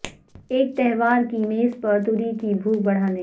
ایک تہوار کی میز پر توری کی بھوک بڑھانے